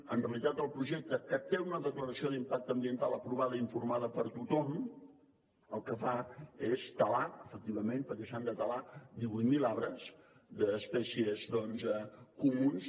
en realitat el projecte que té una declaració d’impacte ambiental aprovada i informada per tothom el que fa és talar efectivament perquè s’han de talar divuit mil arbres d’espècies comunes